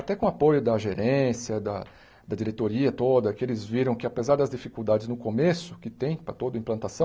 Até com o apoio da gerência, da da diretoria toda, que eles viram que apesar das dificuldades no começo, que tem para toda implantação,